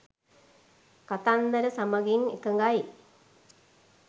කතන්දර සමඟින් එකඟයි